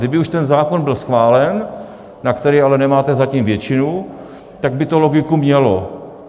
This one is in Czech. Kdyby už ten zákon byl schválen, na který ale nemáte zatím většinu, tak by to logiku mělo.